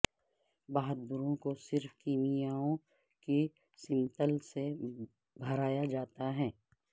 بہادروں کو صرف کیمیائیوں کی سمتل سے بھرایا جاتا ہے